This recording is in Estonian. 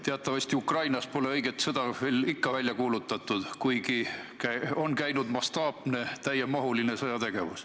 Teatavasti Ukrainas pole õiget sõda ikka veel välja kuulutatud, kuigi on käinud mastaapne, täiemahuline sõjategevus.